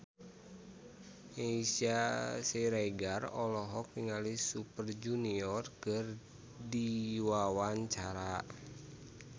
Meisya Siregar olohok ningali Super Junior keur diwawancara